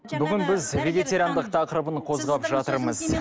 бүгін біз вегетариандық тақырыбын қозғап жатырмыз